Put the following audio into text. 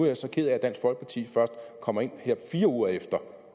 jeg så ked af at dansk folkeparti først kommer ind her fire uger efter